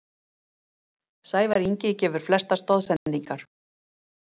Sævar Ingi gefur flestar stoðsendingar